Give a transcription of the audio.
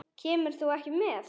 Kemur þú ekki með?